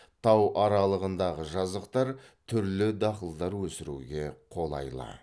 тау аралығындағы жазықтар түрлі дақылдар өсіруге қолайлы